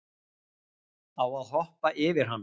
Á hann að hoppa yfir hann?